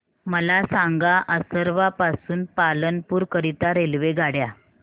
मला सांगा असरवा पासून पालनपुर करीता रेल्वेगाड्या